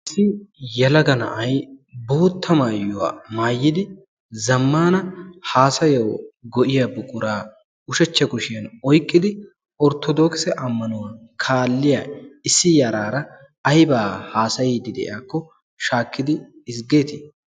yalaga na7ai bootta maayuwaa maayidi zammana haasayau go7iya buquraa ushachcha koshiyan oiqqidi orttodooksa ammanuwaa kaalliya issi yaraara aibaa haasayiidi de7ayaakko shaakkidi izggeetii?